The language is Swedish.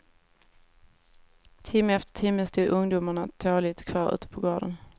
Timme efter timme stod ungdomarna tåligt kvar ute på gården.